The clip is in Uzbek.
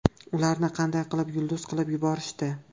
Ularni qanday qilib yulduz qilib yuborishdi?